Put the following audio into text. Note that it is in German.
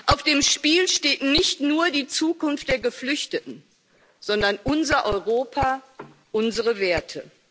Auf dem Spiel steht nicht nur die Zukunft der Geflüchteten, sondern unser Europa, unsere Werte.